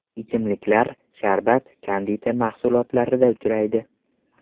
Ichimliklar, sharbat, konditer mahsulotlarida uchraydi.